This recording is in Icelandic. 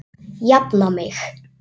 Við höfum annast hvor annan.